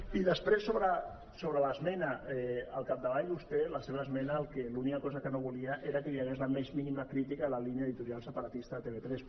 i després sobre l’esmena al capdavall vostè la seva esmena l’única cosa que no volia era que hi hagués la més mínima crítica a la línia editorial separatista de tv3